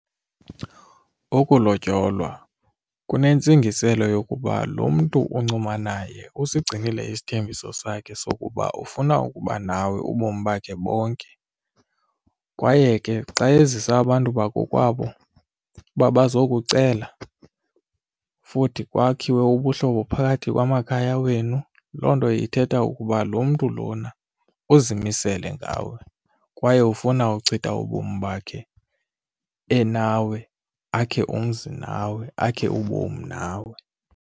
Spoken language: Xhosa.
Ukulotyolwa kunentsingiselo yokuba lo mntu uncuma naye usigcinile isithembiso sakhe sokuba ufuna ukuba nawe ubomi bakhe bonke kwaye ke xa ezisa abantu bakokwabo uba bazokucela futhi kwakhiwe ubuhlobo phakathi kwamakhaya wenu, loo nto ithetha ukuba lo mntu lona uzimisele ngawe kwaye ufuna uchitha ubomi bakhe enawe akhe umzi nawe, akhe ubomi nawe.